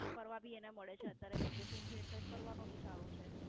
ફરવા ભી એને મળે છે અત્યારે Vaction છે એટલે ફરવાનો ભી ચાલુ છે.